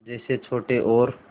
जैसे छोटे और